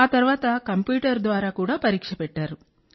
ఆ తర్వాత కంప్యూటర్ ద్వారా కూడా పరీక్ష పెట్టారు